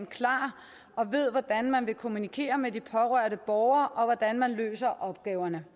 klar og ved hvordan man vil kommunikere med de berørte borgere og hvordan man løser opgaverne